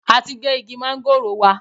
A ti gé igi mángòrò wa.